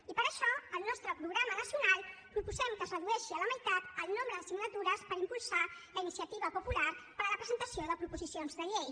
i per això al nostre programa nacional proposem que es redueixi a la meitat el nombre de signatures per impulsar la iniciativa popular per a la presentació de proposicions de llei